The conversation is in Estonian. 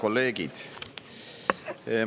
Head kolleegid!